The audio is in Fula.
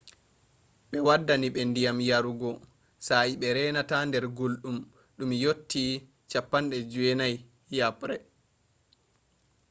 ɓe waddini ɓe ndiyam yarugo sa'e be reenata nder gulɗum ndum yotti 90f-yaɓre